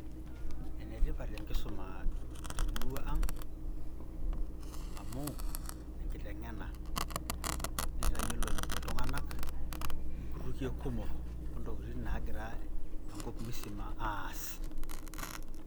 Enetipat enkisuma temurua ang',amu enkiteng'ena. Nitayiolo iltung'anak, inkutukie kumok ontokiting' nagira enkop musima aas.